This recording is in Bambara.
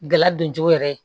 Gɛlɛya don cogo yɛrɛ ye